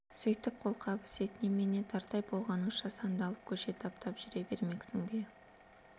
сөйтіп қолқабыс ет немене дардай болғаныңша сандалып көше таптап жүре бермексің бе